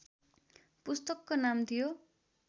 पुस्तकको नाम थियो